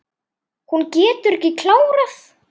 Hún getur ekki klárað.